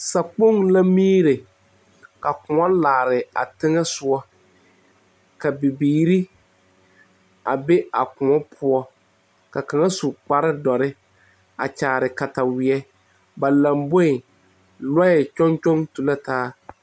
Sa kpoŋ la miire ka kõɔ laare a teŋɛsugɔ ka bibiire a be a kõɔ poɔ ka kaŋ su kparedɔre a kyaare kataweɛ ba lamboeŋ lɔɛ kyɔŋ kyɔŋ tu la taa.